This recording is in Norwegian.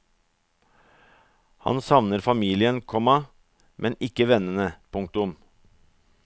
Han savner familien, komma men ikke vennene. punktum